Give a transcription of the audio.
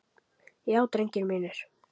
Já drengir mínir.